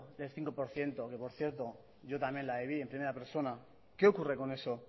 del cinco por ciento que por cierto yo también la viví en primera persona qué ocurre con eso